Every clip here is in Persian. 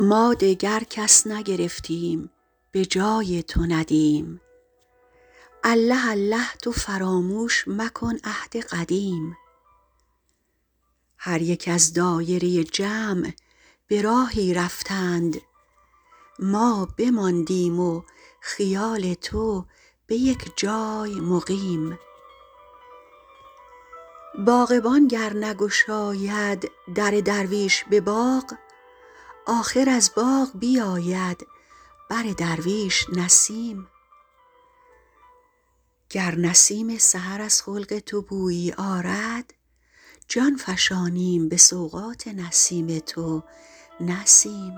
ما دگر کس نگرفتیم به جای تو ندیم الله الله تو فراموش مکن عهد قدیم هر یک از دایره جمع به راهی رفتند ما بماندیم و خیال تو به یک جای مقیم باغبان گر نگشاید در درویش به باغ آخر از باغ بیاید بر درویش نسیم گر نسیم سحر از خلق تو بویی آرد جان فشانیم به سوغات نسیم تو نه سیم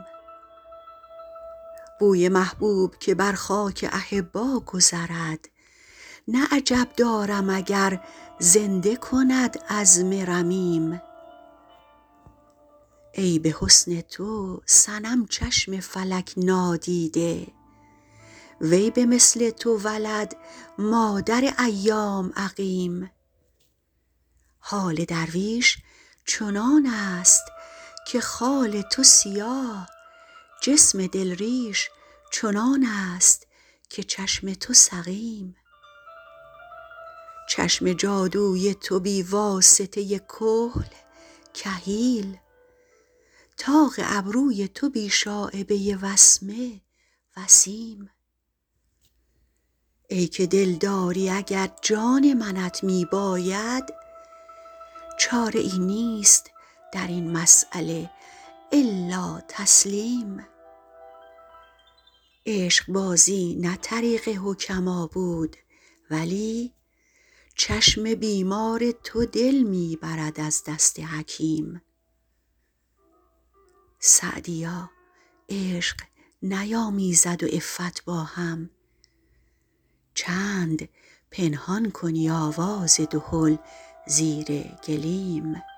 بوی محبوب که بر خاک احبا گذرد نه عجب دارم اگر زنده کند عظم رمیم ای به حسن تو صنم چشم فلک نادیده وی به مثل تو ولد مادر ایام عقیم حال درویش چنان است که خال تو سیاه جسم دل ریش چنان است که چشم تو سقیم چشم جادوی تو بی واسطه کحل کحیل طاق ابروی تو بی شایبه وسمه وسیم ای که دلداری اگر جان منت می باید چاره ای نیست در این مسأله الا تسلیم عشقبازی نه طریق حکما بود ولی چشم بیمار تو دل می برد از دست حکیم سعدیا عشق نیامیزد و عفت با هم چند پنهان کنی آواز دهل زیر گلیم